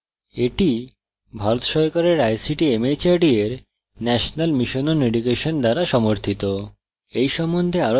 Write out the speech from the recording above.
এটি ভারত সরকারের ict mhrd এর national mission on education দ্বারা সমর্থিত